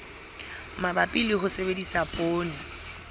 mabapi le ho sebedisa poone